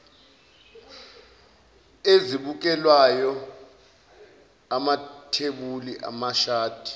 ezibukelwayo amathebuli amashadi